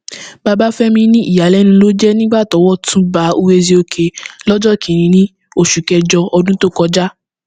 babafẹmi ní ìyàlẹnu ló jẹ nígbà tọwọ tún ba uwaezuoke lọjọ kìnínní oṣù kẹjọ ọdún tó kọjá